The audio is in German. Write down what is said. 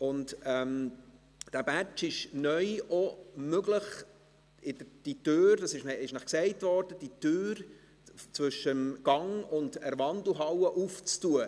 Mit diesem Badge ist es neu auch möglich – dies wurde Ihnen gesagt –, die Tür zwischen dem Gang und der Wandelhalle zu öffnen.